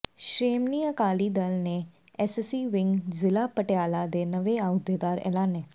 ਸ਼ੋ੍ਮਣੀ ਅਕਾਲੀ ਦਲ ਨੇ SC wing ਜ਼ਿਲ੍ਹਾ ਪਟਿਆਲਾ ਦੇ ਨਵੇਂ ਅਹੁਦੇਦਾਰ ਐਲਾਨੇ